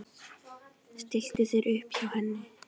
Stilltu þér upp hjá henni.